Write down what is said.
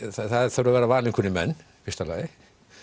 það þurfa að vera valin einhverjir menn í fyrsta lagi